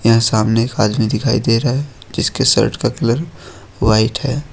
यहां सामने एक आदमी दिखाई दे रहा है जिसके शर्ट का कलर व्हाइट है।